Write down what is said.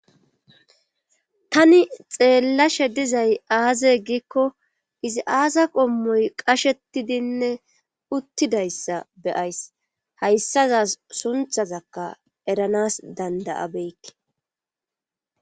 Tani xeellashe dizay aaze gikko izi aaza qommoy qashetidinne uttidayssa beyays hayssazas sunthazakka eranas danda7abeykke.